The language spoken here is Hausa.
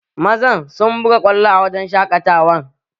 Mazan sun buga kwallo a wurin shaƙatawan